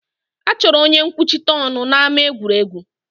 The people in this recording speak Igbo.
A chọrọ onye nkwuchite ọnụ n'ámá egwuregwu